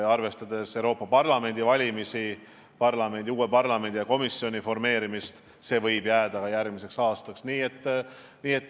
Arvestades Euroopa Parlamendi valimisi, uue parlamendi ja komisjoni formeerimist, võib see jääda järgmiseks aastaks.